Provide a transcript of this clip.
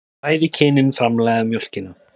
Bæði kynin framleiða mjólkina.